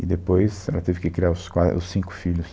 E depois ela teve que criar os quatro, os cinco filhos.